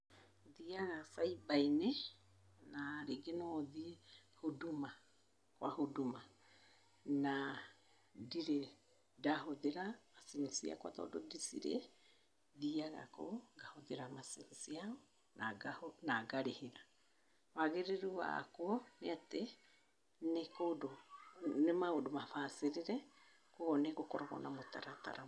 Thiaga cyber-inĩ na rĩngĩ no thiĩ Huduma kwa Huduma, na ndirĩ ndahũthĩra macini ciakwa tondũ ndicirĩ, thiaga kũu ngahũthĩra macini ciao na ngarĩhĩra. Wagĩrĩru wakuo nĩ atĩ, nĩ kũndũ, nĩ maũndũ mabacĩrĩre , ũguo nĩgũkoragwo na mũtaratara.